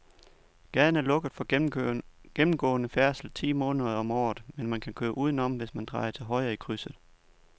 Gaden er lukket for gennemgående færdsel ti måneder om året, men man kan køre udenom, hvis man drejer til højre i krydset.